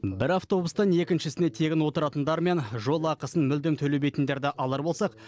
бір автобустан екіншісіне тегін отыратындар мен жол ақысын мүлдем төлемейтіндерді алар болсақ